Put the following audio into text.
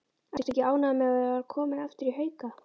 Ertu ekki ánægður með að vera kominn aftur í Hauka?